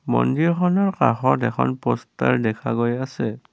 মন্দিৰখনৰ কাষত এখন প'ষ্টাৰ দেখা গৈ আছে।